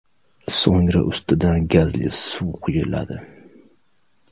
So‘ngra ustidan gazli suv quyiladi.